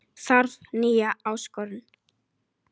Þarf nýja áskorun